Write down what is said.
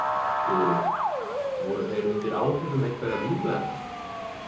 Guðrún: Voru þeir undir áhrifum einhverra vímuefna?